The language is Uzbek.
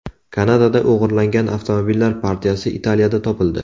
Kanadada o‘g‘irlangan avtomobillar partiyasi Italiyada topildi.